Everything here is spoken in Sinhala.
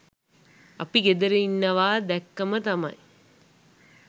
අපි ගෙදර ඉන්නවා දැක්කම තමයි